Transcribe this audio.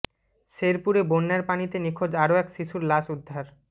শেরপুরে বন্যার পানিতে নিখোঁজ আরো এক শিশুর লাশ উদ্ধার